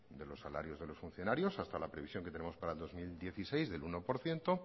de los salarios de los funcionariosn hasta la previsión que tenemos para el dos mil dieciséis del uno por ciento